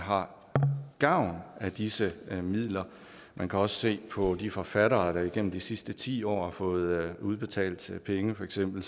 har gavn af disse midler man kan også se på de forfattere der igennem de sidste ti år har fået udbetalt penge for eksempel